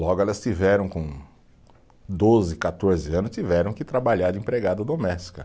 Logo, elas tiveram, com doze, quatorze anos, tiveram que trabalhar de empregada doméstica.